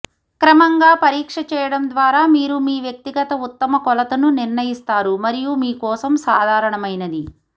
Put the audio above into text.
క్రమంగా పరీక్ష చేయడం ద్వారా మీరు మీ వ్యక్తిగత ఉత్తమ కొలతను నిర్ణయిస్తారు మరియు మీ కోసం సాధారణమైనది